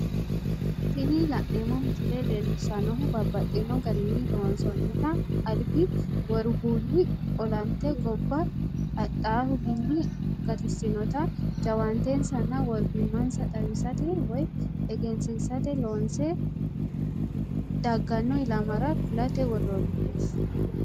Tini la'neemo misile leellishanohu babaxxino garinni loonsoonitta alibbi woribuulli ollante gobba adhahuwinni gattisinotta jaawaan'tensanna woribima'nasa xawisate woyi egenisisate loonse dagano ilamara kulate woronite